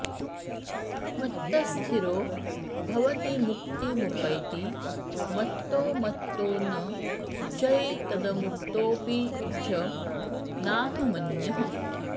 मत्तः स्थिरो भवति मुक्तिमुपैति मत्तो मत्तो न चैतदमुतोऽपि च नाहमन्यः